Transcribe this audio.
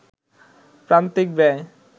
প্রান্তিক ব্যয়